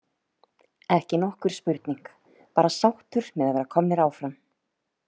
Ekki nokkur spurning, bara sáttur með að vera komnir áfram.